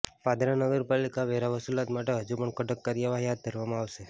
પાદરા નગરપાલિકા વેરા વસુલાત માટે હજુ પણ કડક કાર્યવાહી હાથ ધરવામાં આવશે